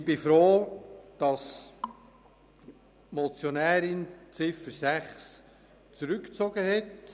Ich bin froh, dass die Motionärin die Ziffer 6 zurückgezogen hat.